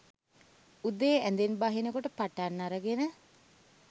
උදේ ඇඳෙන් බහින කොට පටන් අරගෙන